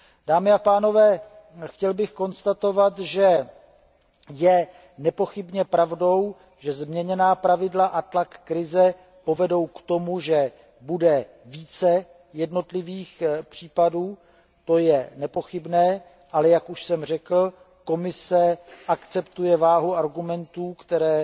Dámy a pánové, chtěl bych konstatovat, že je nepochybně pravdou, že změněná pravidla a tlak krize povedou k tomu, že bude více jednotlivých případů, ale jak už jsem řekl, Komise akceptuje váhu argumentů, které